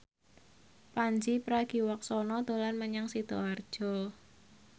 Pandji Pragiwaksono dolan menyang Sidoarjo